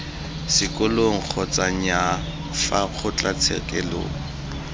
sekolong kgotsa nnyaa fa kgotlatshekelo